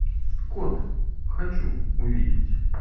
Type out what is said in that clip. кот хочу увидеть